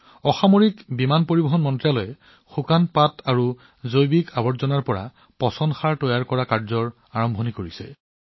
অসামৰিক বিমান পৰিবহণ মন্ত্ৰালয়ৰ বিভাগবোৰে শুকান পাত আৰু গছৰ পৰা পৰা জৈৱিক আৱৰ্জনাৰ পৰা জৈৱিক সাৰ প্ৰস্তুত কৰা আৰম্ভ কৰিছে